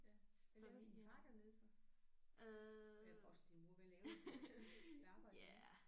Ja hvad lavede din far dernede så eller også din mor hvad lavede de hvad arbejdede de med?